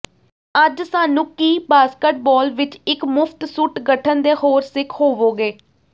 ਅੱਜ ਸਾਨੂੰ ਕੀ ਬਾਸਕਟਬਾਲ ਵਿੱਚ ਇੱਕ ਮੁਫ਼ਤ ਸੁੱਟ ਗਠਨ ਦੇ ਹੋਰ ਸਿੱਖ ਹੋਵੋਗੇ